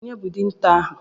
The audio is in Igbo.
Ònye bụ dinta ahụ?